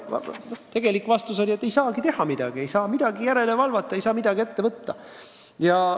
Tegelik vastus oli, et ei saagi midagi teha – ei saa millegi järele valvata, ei saa midagi ette võtta.